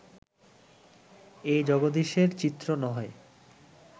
এ জগদীশ্বরের চিত্র নহে